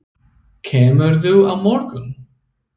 Kemurðu á morgun?